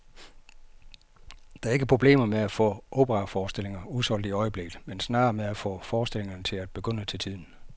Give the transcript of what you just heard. Der er ikke problemer med at få operaforestillinger udsolgt i øjeblikket, men snarere med at få forestillingerne til at begynde til tiden.